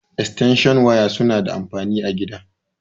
Eatenshin waya suna da anfani a gida.